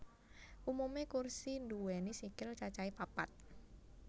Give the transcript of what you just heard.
Umumé kursi nduwéni sikil cacahé papat